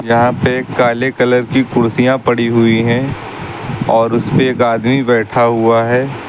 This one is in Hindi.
यहां पे एक काले कलर की कुर्सियां पड़ी हुई है और उसपे पे एक आदमी बैठा हुआ है।